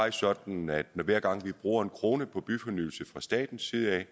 er sådan at hver gang vi bruger en kroner på byfornyelse fra statens side